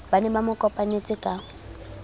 ba ne ba mokopanetse ka